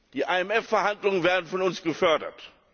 Die IWF Verhandlungen werden von uns gefördert.